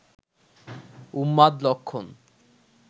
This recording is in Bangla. উন্মাদ লক্ষণ